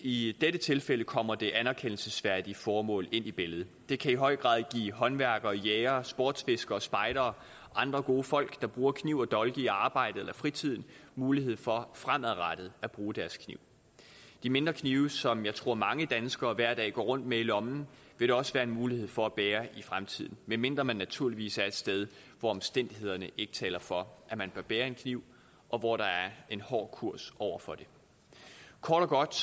i dette tilfælde kommer det anerkendelsesværdige formål ind i billedet det kan i høj grad give håndværkere jægere sportsfiskere og spejdere og andre gode folk der bruger kniv eller dolk i arbejdet eller fritiden mulighed for fremadrettet at bruge deres kniv de mindre knive som jeg tror mange danskere hver dag går rundt med i lommen vil der også være mulighed for at bære i fremtiden medmindre man naturligvis er et sted hvor omstændighederne ikke taler for at man bør bære en kniv og hvor der er en hård kurs over for det kort og godt